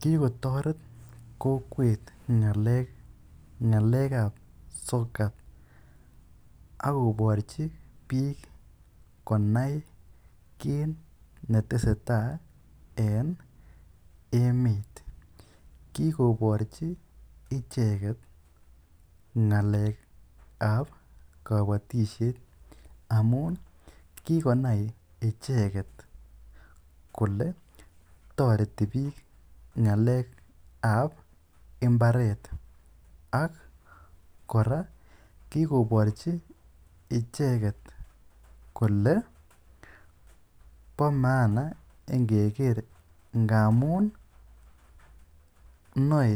Kigotoret kokwet ng'alekab sokat ak koborchi biik konai kit netesetai en emet. Kigoborchi icheget ng'alekab kobotisiet amun kigonai icheget kole toreti biik ng'alekab mbaret. ak kigoborji icheget kole bo maana ingeker ngamun noe